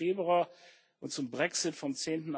16. Februar und zum Brexit vom